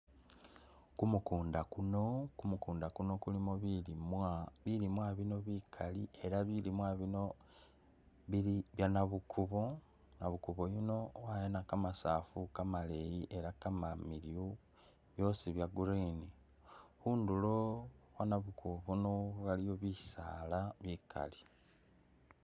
Kumukunda kuno , kumukunda kuno kulimo bilimwa, bilimwa bikali ela bilimwa bino bili bye nabukubo, nabukubo uyuno wayana kamasafu kamaleyi ela kamanefu byosi bye green, khhundulo khwo nabukubo uyuno iliyo bisaala bikaali.